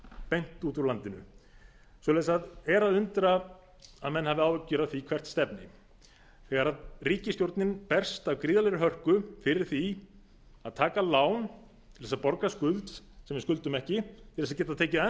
beint úr úr landinu er að undra að menn hafi áhyggjur af því hvert stefni þegar ríkisstjórnin berst af gríðarlegri hörku fyrir því að taka lán til að borga af skuld sem við skuldum ekki til að geta tekið enn